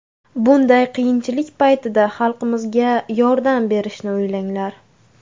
Bunday qiyinchilik paytida xalqimizga yordam berishni o‘ylanglar.